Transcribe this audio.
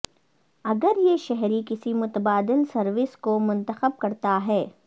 اگر یہ شہری کسی متبادل سروس کو منتخب کرتا ہے